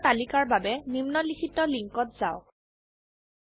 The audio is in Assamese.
কমান্ডৰ তালিকাৰ বাবে নিম্নলিখিত লিঙ্কত যাওক